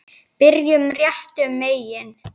Byrjum réttum megin.